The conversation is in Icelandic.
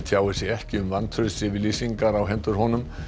tjáir sig ekki um vantraustsyfirlýsingar á hendur honum